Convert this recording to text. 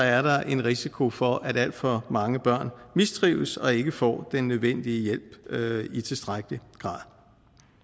er der en risiko for at alt for mange børn mistrives og ikke får den nødvendige hjælp i tilstrækkelig grad